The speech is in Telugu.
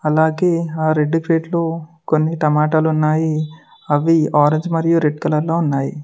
అలాగే ఆ రెడ్ ప్లేట్లో కొన్ని టమాటాలు ఉన్నాయి అవి ఆరెంజ్ మరియు రెడ్ కలర్ లో ఉన్నాయి.